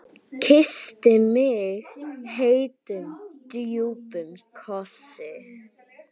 Kyssti mig heitum, djúpum kossi.